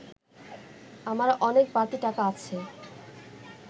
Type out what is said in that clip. আমার অনেক বাড়তি টাকা আছে